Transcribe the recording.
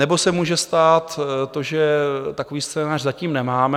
Nebo se může stát to, že takový scénář zatím nemáme.